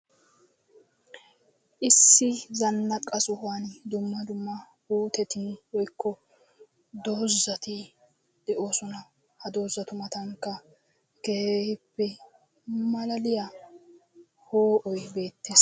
Issi zannaqa sohuwaani dumma dumma puuteti woykko doozati de'oosona. Ha doozatu matankka malaliya poo"oy beettes.